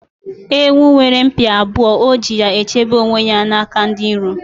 Ewu nwere mpi abụọ, o ji ya chebe onwe ya n'aka ndi iro